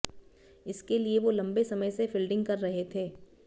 इसके लिए वो लम्बे समय से फील्डिंग कर रहे थे